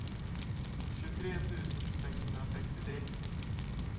tjugotre tusen sexhundrasextiotre